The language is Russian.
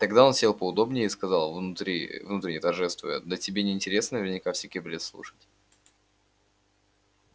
тогда он сел поудобнее и сказал внутренне торжествуя да тебе не интересно наверное всякий бред слушать